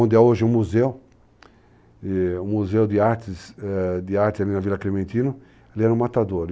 onde é hoje um museu, um museu de artes ali na Vila Clementino, ele era um matador.